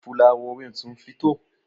fulawowin sun fito?